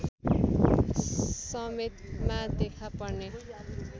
समेतमा देखा पर्ने